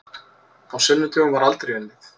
Á sunnudögum var aldrei unnið.